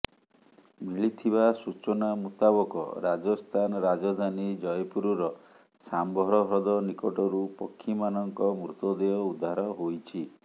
ମିଳିଥିବା ସୂଚନା ମୁତାବକ ରାଜସ୍ଥାନ ରାଜଧାନୀ ଜୟପୁରର ସାମ୍ଭର ହ୍ରଦ ନିକଟରୁ ପକ୍ଷୀମାନଙ୍କ ମୃତଦେହ ଉଦ୍ଧାର ହୋଇଛି